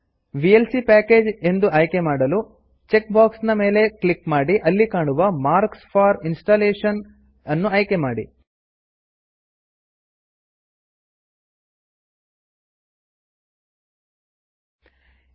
VLC package ಎಂದು ಆಯ್ಕೆ ಮಾಡಲು ಚೆಕ್ ಬಾಕ್ಸ್ ನ ಮೇಲೆ ಕ್ಲಿಕ್ ಮಾಡಿ ಅಲ್ಲಿ ಕಾಣುವ mark for installation mark for installation ಅನ್ನು ಆಯ್ಕೆ ಮಾಡಿ